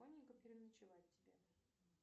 переночевать тебе